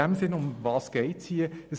Worum geht es in diesem Sinn?